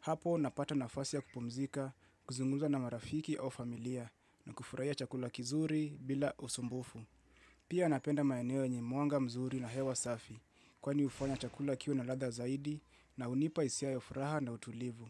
Hapo napata nafasi ya kupumzika kuzungumza na marafiki au familia na kufurahia chakula kizuri bila usumbufu. Pia napenda maeneo yenye mwanga mzuri na hewa safi kwani hufanya chakula kiwe na ladha zaidi na hunipa hisia ya furaha na utulivu.